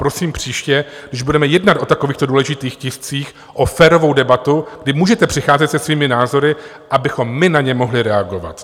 Prosím příště, když budeme jednat o takovýchto důležitých tiscích, o férovou debatu, kdy můžete přicházet se svými názory, abychom my na ně mohli reagovat.